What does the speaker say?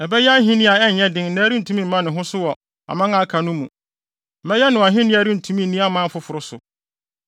Ɛbɛyɛ ahenni a ɛnyɛ den na ɛrentumi mma ne ho so wɔ aman a aka no mu. Mɛyɛ no ahenni a ɛrentumi nni aman afoforo so.